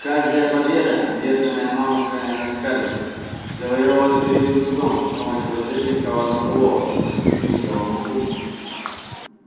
каждая победа одержанная мамушкой над скарлетт завоёвывалась с великим трудом и с помощью различных коварных уловок недоступных белому уму